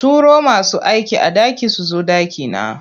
Turo masu aikin a ɗaki su zo ɗakina.